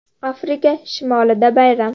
Afrika shimolida bayram.